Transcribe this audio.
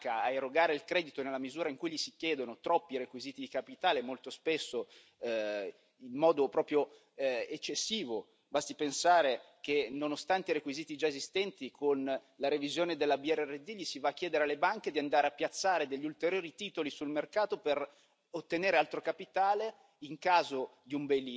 Il fatto di limitare una banca ad erogare il credito nella misura in cui gli si chiedono troppi requisiti di capitale, molto spesso, in modo proprio eccessivo, basti pensare che, nonostante i requisiti già esistenti, con la revisione della BRRD si va a chiedere alle banche di andare a piazzare degli ulteriori titoli sul mercato per ottenere altro capitale